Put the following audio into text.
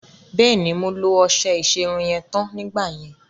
Bẹ́ẹ̀ni, mo lo ọṣẹ ìṣerun yẹn tán nígbà yẹn.